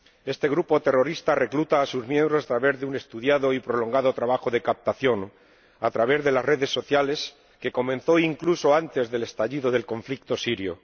Este grupo terrorista recluta a sus miembros mediante un estudiado y prolongado trabajo de captación a través de las redes sociales, que comenzó incluso antes del estallido del conflicto sirio.